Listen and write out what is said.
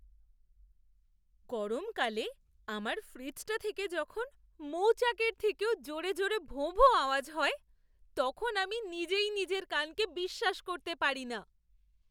গরমকালে আমার ফ্রিজটা থেকে যখন মৌচাকের থেকেও জোরে জোরে ভোঁভোঁ আওয়াজ হয়, তখন আমি নিজেই নিজের কানকে বিশ্বাস করতে পারি না!